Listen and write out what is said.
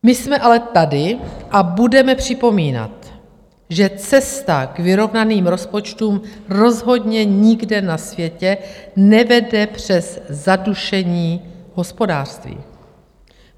My jsme ale tady a budeme připomínat, že cesta k vyrovnaným rozpočtům rozhodně nikde na světě nevede přes zadušení hospodářství.